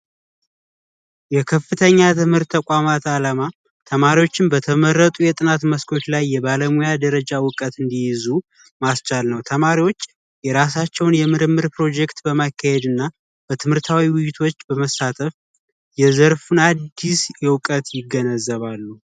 የከፍተኛ ትምህርት ተቋማት አላማ ተማሪዎችን በተመረጡ የትምህርት መስኮች ላይ የባለሙያ እውቀት እንዲይዙ ማስቻል ነው። ተማሪዎች የራሳቸውን የምርምር ፕሮጀክት በማካሄድ እና በትምህርታዊ ውይይቶች በመሳተፍ የዘርፉን አዲስ እውቀት ይገነዘባሉ።